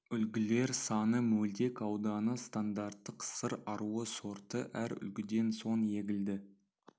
үлгілер саны мөлдек ауданы стандарттық сыр аруы сорты әр үлгіден соң егілді